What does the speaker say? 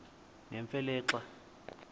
nemfe le xa